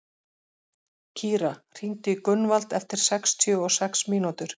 Kíra, hringdu í Gunnvald eftir sextíu og sex mínútur.